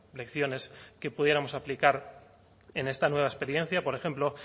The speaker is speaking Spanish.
lecciones que pudiéramos aplicar en esta nueva experiencia por ejemplo